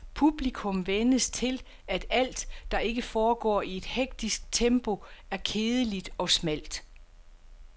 Publikum vænnes til, at alt, der ikke foregår i et hektisk tempo, er kedeligt og smalt.